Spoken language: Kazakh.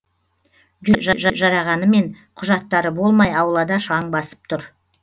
жүруге жарағанымен құжаттары болмай аулада шаң басып тұр